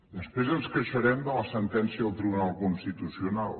després ens queixarem de la sentència del tribunal constitucional